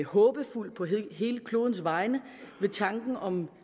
håbefuld på hele klodens vegne ved tanken om